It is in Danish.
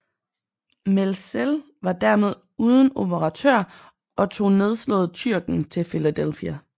Mälzel var dermed uden operatør og tog nedslået Tyrken til Philadelphia